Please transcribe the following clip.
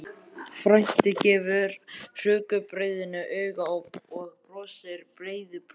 Frændi gefur rúgbrauðinu auga og brosir breiðu brosi.